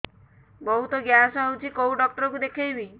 ବହୁତ ଗ୍ୟାସ ହଉଛି କୋଉ ଡକ୍ଟର କୁ ଦେଖେଇବି